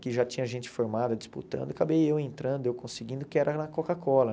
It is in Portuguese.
que já tinha gente formada disputando, acabei eu entrando, eu conseguindo, que era na Coca-Cola.